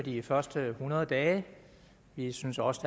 de første hundrede dage vi synes også